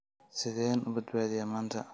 Sideen u badbaadiyaa maanta?